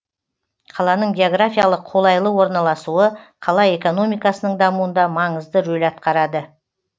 қаланың географиялық қолайлы орналасуы қала экономикасының дамуында маңызды рөл атқарады